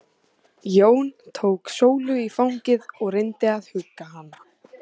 Jón tók Sólu í fangið og reyndi að hugga hana.